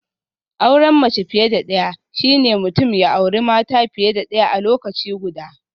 Auren mace fiye da daya shine mutum ya auri mata fiye da daya a lokaci guda